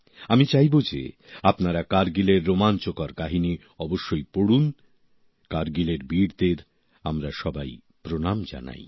আমি চাইব যে আপনারা কারগিলের রোমাঞ্চকর কাহিনী অবশ্যই পড়ুন কারগিলের বীরদের আমরা সবাই প্রণাম জানাই